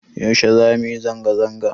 Yaushe za mu yi zanga-zanga?